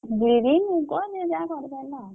ବିରି ମୁଗ ଯିଏ ଯାହା କରିପାରିଲା ଆଉ।